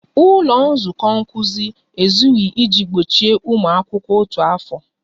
Ụlọ nzukọ nkuzi ezughị iji gbochie ụmụ akwụkwọ otu afọ